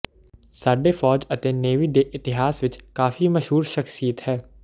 ਸਾਡੇ ਫ਼ੌਜ ਅਤੇ ਨੇਵੀ ਦੇ ਇਤਿਹਾਸ ਵਿਚ ਕਾਫ਼ੀ ਮਸ਼ਹੂਰ ਸ਼ਖ਼ਸੀਅਤ ਹੈ